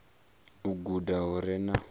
u guda hu re na